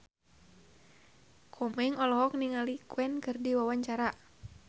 Komeng olohok ningali Queen keur diwawancara